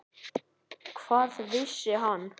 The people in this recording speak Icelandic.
Hvað vissi hann?